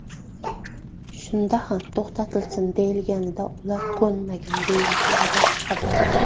Shunda ham to‘xtatilsin deyilganida ular ko‘nmagan”, deyiladi xabarda.